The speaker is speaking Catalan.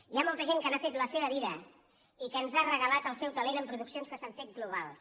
hi ha molta gent que n’ha fet la seva vida i que ens ha regalat el seu talent amb produccions que s’han fet globals